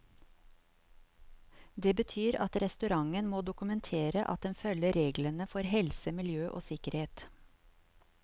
Det betyr at restauranten må dokumentere at den følger reglene for helse, miljø og sikkerhet.